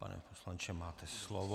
Pane poslanče, máte slovo.